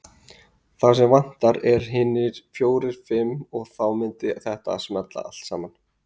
Það sem vantar er hinir fjórir fimm og þá myndi þetta smella allt saman.